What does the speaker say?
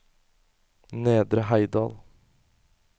Nedre Heidal